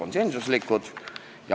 – konsensuslikud.